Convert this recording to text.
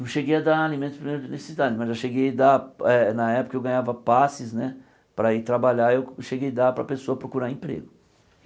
Não cheguei a dar alimentos de primeira necessidade, mas eu cheguei dar eh na época eu ganhava passes né para ir trabalhar e eu cheguei dar para a pessoa procurar emprego.